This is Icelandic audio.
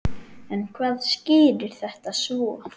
En hvað skýrir þetta svo?